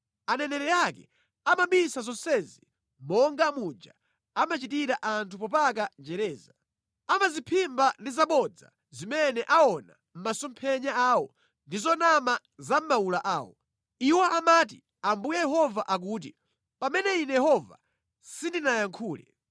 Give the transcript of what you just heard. Aneneri ake amabisa zonsezi monga muja amachitira anthu popaka njereza. Amazimphimba ndi zabodza zimene aona mʼmasomphenya awo ndi zonama za mʼmawula awo. Iwo amati, ‘Ambuye Yehova akuti,’ pamene Ine Yehova sindinayankhule.